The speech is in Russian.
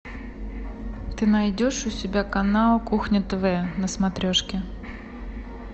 ты найдешь у себя канал кухня тв на смотрешке